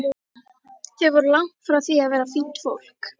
Þau voru langt frá því að vera fínt fólk.